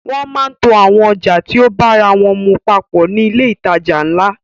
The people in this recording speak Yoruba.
Wọ́n máa ń to àwọn ọjà tí o bára wọ́n mu papọ̀ ní ilé ìtajà ńlá.